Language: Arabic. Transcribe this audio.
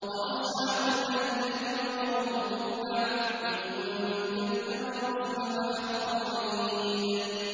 وَأَصْحَابُ الْأَيْكَةِ وَقَوْمُ تُبَّعٍ ۚ كُلٌّ كَذَّبَ الرُّسُلَ فَحَقَّ وَعِيدِ